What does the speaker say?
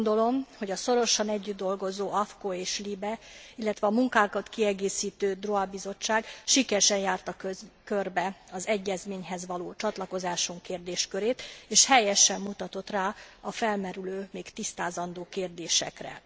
Úgy gondolom, hogy a szorosan együtt dolgozó AFCO és LIBE, illetve a munkánkat kiegészítő droit bizottság sikeresen járta körbe az egyezményhez való csatlakozásunk kérdéskörét, és helyesen mutatott rá a felmerülő, még tisztázandó kérdésekre.